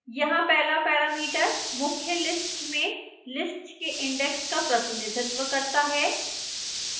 यहाँ पहला parameter मुख्य list में list के index का प्रतिनिधित्व करता है